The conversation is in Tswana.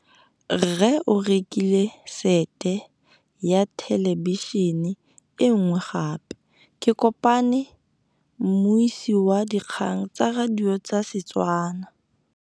Rre o rekile sete ya thêlêbišênê e nngwe gape. Ke kopane mmuisi w dikgang tsa radio tsa Setswana.